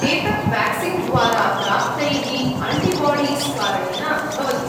एतत् वेक्सीन् द्वारा प्राप्तैः आन्टिबाडीस् कारणेन भवति।